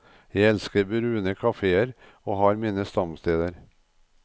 Jeg elsker brune caféer og har mine stamsteder.